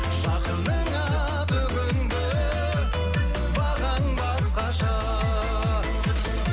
жақыныңа бүгінгі бағаң басқаша